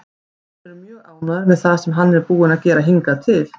Menn eru mjög ánægðir með það sem hann er búinn að gera hingað til.